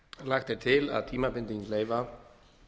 lagt er til að tímabinding leyfa